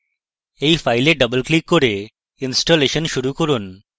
এই file double click করে installation শুরু করুন